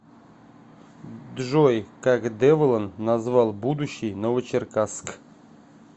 джой как деволан назвал будущий новочеркасск